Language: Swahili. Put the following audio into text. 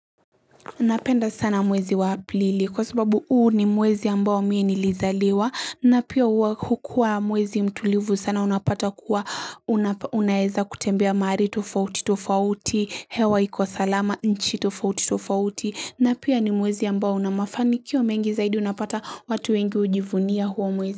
Napenda sana mwezi wa aprili kwa sababu huu ni mwezi ambao mie nilizaliwa na pia hukua mwezi mtulivu sana unapata kuwa unaeza kutembea mahali tofauti tofauti hewa iko salama nchi tofauti tofauti na pia ni mwezi ambao unamafanikio mengi zaidi unapata watu wengi hujivunia huo mwezi.